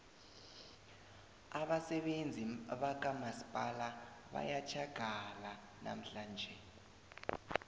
abasebenzi bakamasipala bayathjagala namhlanje